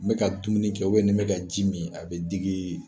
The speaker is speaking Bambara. N bɛ ka dumuni kɛ, wali , ne bɛ ka ji min ,a bɛ digi n na.